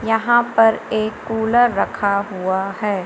यहां पर एक कूलर रखा हुआ है।